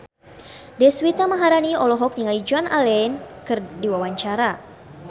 Deswita Maharani olohok ningali Joan Allen keur diwawancara